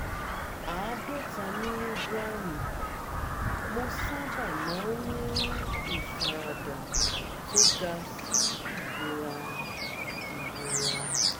50mg mo sábà máa ń ní ìfaradà tó ga sí ìrora ìrora